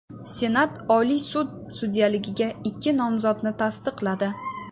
Senat Oliy sud sudyaligiga ikki nomzodni tasdiqladi.